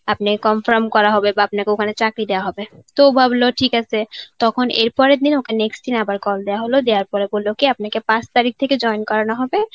আপনাকে confirm করা হবে বা আপনাকে ওখানে চাকরি দেওয়া হবে. তো ভাবলো ঠিক আছে. তখন এর পরের দিন ওকে next দিন আবার call দেওয়া হল. দেওয়ার পরে বলল কি আপনাকে পাঁচ তারিখ থেকে join করানো হবে.